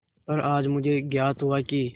पर आज मुझे ज्ञात हुआ कि